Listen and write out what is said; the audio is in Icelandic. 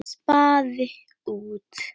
Spaði út.